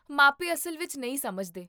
ਮਾਪੇ ਅਸਲ ਵਿੱਚ ਨਹੀਂ ਸਮਝਦੇ